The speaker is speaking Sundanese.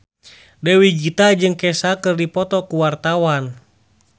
Dewi Gita jeung Kesha keur dipoto ku wartawan